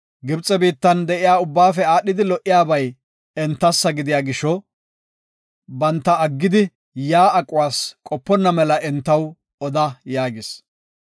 Gibxe biittan de7iya ubbaafe aadhidi lo77iyabay entassa gidiya gisho, banta aggidi yaa aquwas qoponna mela entaw oda” yaagis.